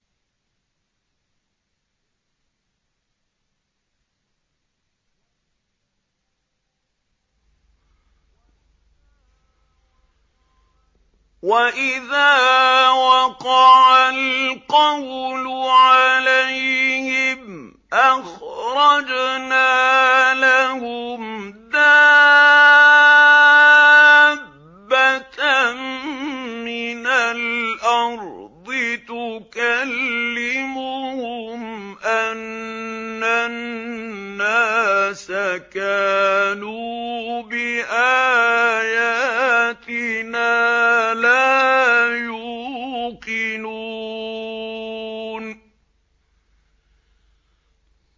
۞ وَإِذَا وَقَعَ الْقَوْلُ عَلَيْهِمْ أَخْرَجْنَا لَهُمْ دَابَّةً مِّنَ الْأَرْضِ تُكَلِّمُهُمْ أَنَّ النَّاسَ كَانُوا بِآيَاتِنَا لَا يُوقِنُونَ